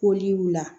Koli y'u la